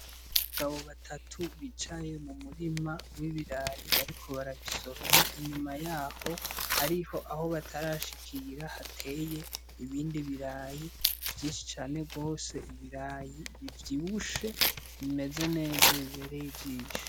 Abagabo batatu bicaye mu murima w'ibirayi, bariko barabisoroma, inyuma yaho hariho aho batarashikira, hateye ibindi birayi vyinshi cane gose, ibirayi bivyibushe, bimeze neza, bibereye ijisho.